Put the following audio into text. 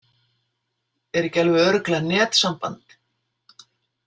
Er ekki alveg örugglega netsamband?